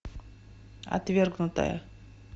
отвергнутая